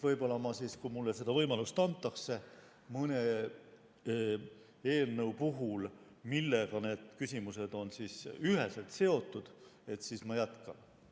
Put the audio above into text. Võib-olla ma siis, kui mulle seda võimalust antakse mõne eelnõu puhul, millega need küsimused on üheselt seotud, jätkan.